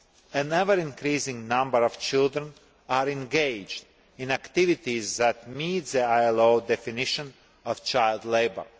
an ever increasing number of children are engaged in activities that meet the ILO definition of child labour.